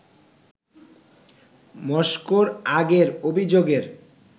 মস্কোর আগের অভিযোগের